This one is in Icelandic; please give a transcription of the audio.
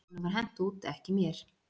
"""Honum var hent út, ekki mér."""